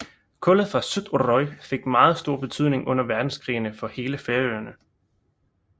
Kullet fra Suðuroy fik meget stor betydning under verdenskrigene for hele Færøerne